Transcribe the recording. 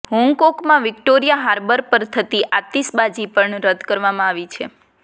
હોંગકોંગમાં Victoria Harbour પર થતી આતિશબાજી પણ રદ કરવામાં આવી છે